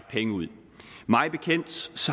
penge ud af mig bekendt